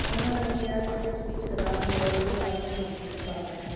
ਉਨ੍ਹਾਂ ਨੇ ਕਿਹਾ ਕਿ ਪੁੱਛਗਿੱਛ ਦੌਰਾਨ ਹੋਰ ਵੀ ਖੁਲਾਸੇ ਹੋਣ ਦੀ ਸੰਭਾਵਨਾ ਹੈ